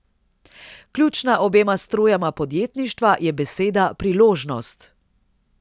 Ključna obema strujama podjetništva je beseda priložnost.